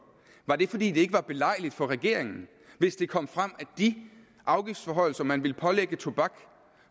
var det fordi det ikke var belejligt for regeringen hvis det kom frem at de afgiftsforhøjelser man ville pålægge tobak